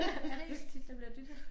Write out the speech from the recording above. Ja det ikke så tit der bliver dyttet